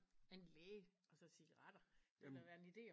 En læge og så cigaretter det ville da være en ide